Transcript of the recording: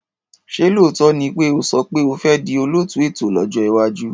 Ṣé lóòótọ́ ni pé o sọ pé o fi di olóòtú ètò lójọ́ iwájú?